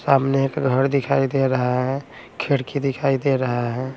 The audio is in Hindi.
सामने एक घड़ दिखाई दे रहा है खिड़की दिखाई दे रहा है।